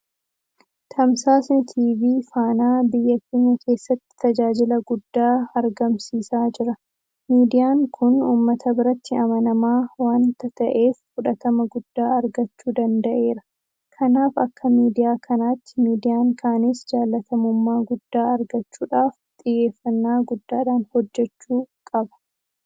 Tamsaasni TV faanaa biyya keenya keessatti tajaajila guddaa argamsiisaa jira. Miidiyaan kun uummata biratti amanamaa waanta ta'eef fudhatama guddaa argachuu danda'eera. Kanaaf akka miidiyaa kanaatti miidiyaan kaanis jaalatamummaa guddaa argachuudhaaf xiyyeeffannaa guddaadhaan hojjechuu qaba.